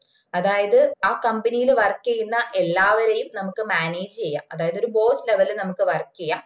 അതായത് ആ company ൽ work ചെയ്യുന്ന എല്ലാവരെയും നമുക്ക് manage ചെയ്യാം അതായത് ഒര് boss level നമക്ക് work ചെയ്യാ